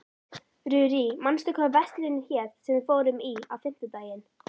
Rúrí, manstu hvað verslunin hét sem við fórum í á fimmtudaginn?